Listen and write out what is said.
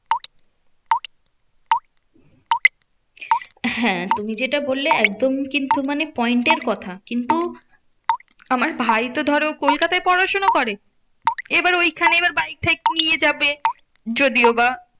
হ্যাঁ তুমি যেটা বললে একদম কিন্তু মানে point এর কথা। কিন্তু আমার ভাই তো ধরো কলকাতায় পড়াশোনা করে। এবার ঐখানে এবার বাইক টাইক নিয়ে যাবে যদিও বা